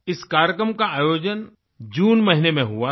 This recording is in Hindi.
इस कार्यक्रम का आयोजन जून महीने में हुआ था